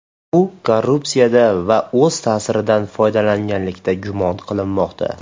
U korrupsiyada va o‘z ta’siridan foydalanganlikda gumon qilinmoqda.